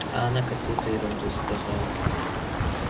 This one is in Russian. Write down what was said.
а она какуюто ерунду сказала